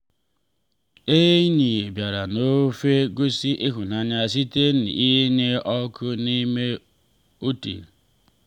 enyi bịara na ofe gosi ịhụnanya site n’ịnye ọkụ n’ime obi.